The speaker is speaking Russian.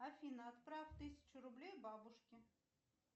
афина отправь тысячу рублей бабушке